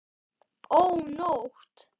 Ó, nótt!